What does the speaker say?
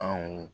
Anw